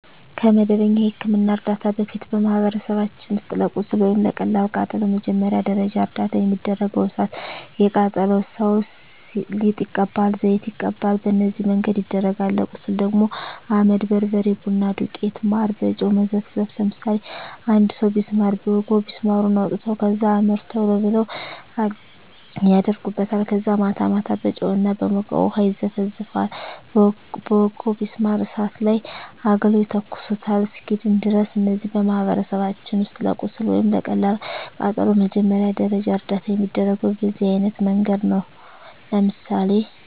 ከመደበኛ የሕክምና ዕርዳታ በፊት፣ በማኅበረሰባችን ውስጥ ለቁስል ወይም ለቀላል ቃጠሎ መጀመሪያ ደረጃ እርዳታ የሚደረገው እሣት የቃጠለው ሠው ሊጥ ይቀባል፤ ዘይት ይቀባል፤ በነዚህ መንገድ ይደረጋል። ለቁስል ደግሞ አመድ፤ በርበሬ፤ ቡና ዱቄት፤ ማር፤ በጨው መዘፍዘፍ፤ ለምሳሌ አንድ ሠው ቢስማር ቢወጋው ቢስማሩን አውጥተው ከዛ አመድ ቶሎ ብለው አደርጉበታል ከዛ ማታ ማታ በጨው እና በሞቀ ውሀ ይዘፈዝፈዋል በወጋው ቢስማር እሳት ላይ አግለው ይተኩሱታል እስኪድን ድረስ። እነዚህ በማኅበረሰባችን ውስጥ ለቁስል ወይም ለቀላል ቃጠሎ መጀመሪያ ደረጃ እርዳታ የሚደረገው በዚህ አይነት መንገድ ነው። ለምሳሌ